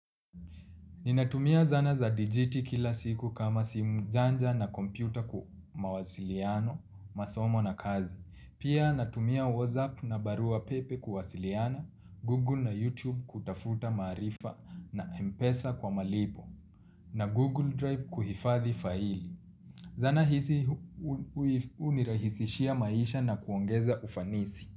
Ninatumia zana za digiti kila siku kama simu janja na kompyuta mawasiliano, masomo na kazi. Pia natumia whatsapp na barua pepe kuwasiliana, google na youtube kutafuta maarifa na mpesa kwa malipo, na google drive kuhifathi faili. Zana hizi hunirahisishia maisha na kuongeza ufanisi.